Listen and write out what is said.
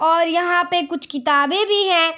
और यहाँ पे कुछ किताबें भी हैं।